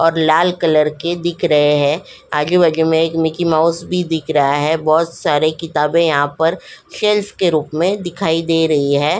और लाल कलर के दिख रहे हैं आजू-बाजू में एक मिकी माउस भी दिख रहा है बहुत सारे किताबें यहां पर शेल्फ के रूप में दिखाई दे रही है।